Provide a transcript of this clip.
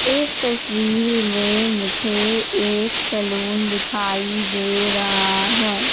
इस तस्वीर में मुझे एक सैलून दिखाई दे रहा है।